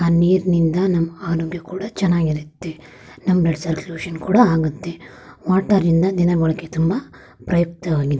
ಆ ನೀರಿನಿಂದ ನಮ್ಮ ಅರೋಗ್ಯ ಕೂಡ ಚೆನ್ನಾಗಿರತ್ತೆ ನಮ್ಮ ಬ್ಲಡ್ ಸರ್ಕ್ಯುಲೇಶನ್ ಕೂಡ ಆಗುತ್ತೆ ವಾಟರ್ ನಿಂದ ದಿನ ಬಳಕೆಗೆ ತುಂಬಾ ಉಪಯುಕ್ತವಾಗಿದೆ .